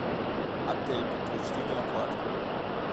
отель подтверждение оплаты